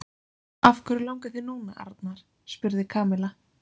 Af hverju langar þig núna, Arnar? spurði Kamilla.